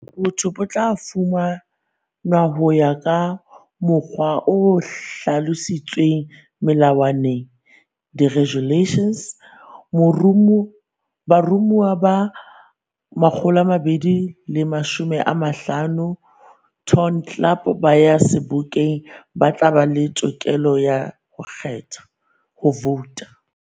Botho bo tla fumanwa ho ya ka mokgwa o hlalositsweng Melawaneng, regulations. Baromuwa ba 250 Ton Club ba yang Sebokeng ba tla ba le tokelo ya ho kgetha, vouta.